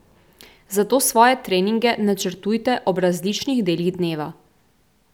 Zato svoje treninge načrtujte ob različnih delih dneva.